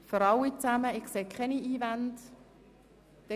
Ich sehe keine Einwände.